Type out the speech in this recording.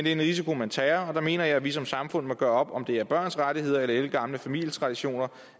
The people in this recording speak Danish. er en risiko man tager og der mener jeg at vi som samfund må gøre op om det er børns rettigheder eller ældgamle familietraditioner